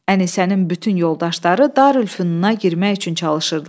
Ənisənin bütün yoldaşları Darülfünuna girmək üçün çalışırdılar.